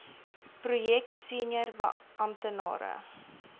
projek senior amptenare